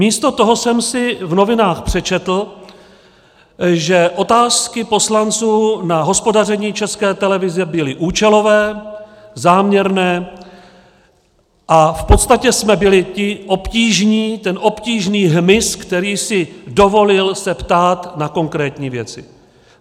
Místo toho jsem si v novinách přečetl, že otázky poslanců na hospodaření České televize byly účelové, záměrné a v podstatě jsme byli ti obtížní, ten obtížný hmyz, který si dovolil se ptát na konkrétní věci.